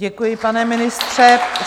Děkuji, pane ministře.